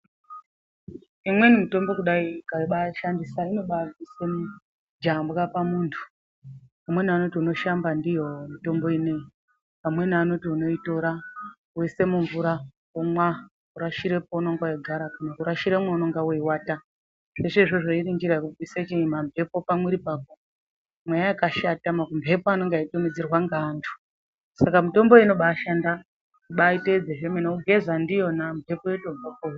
Imweni mitombo kudai ukabaishandisa inobabvisa jambwa pamuntu ,amweni anoti unoshamba ndiyo mutombo ineyi , amweni anoti unoitora woisa mumvura womwa worashira paunenge wegara kana kurashira mwaunenge weiwata . Zveshe izvozvo iri njira yekubvisa chiinyi ,mamhepo pamwiri pako ,mweya wakashata makumhepo anenge eitumidzirwa neantu ,saka mutombo uyu unobashanda kubaiteidza zvemene wogeza ndiyona mhepo yotobva peuri.